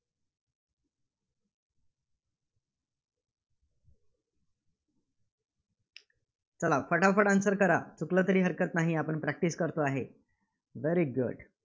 चला, फटाफट answer करा. चुकलं तरी हरकत नाही. आपण practice करतो आहे. Very good